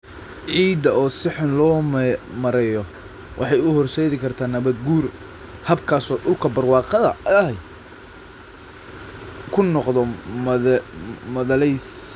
Ciidda oo si xun loo maareeyo waxay u horseedi kartaa nabaad-guur, habkaas oo dhulka barwaaqada ahi uu noqdo madhalays.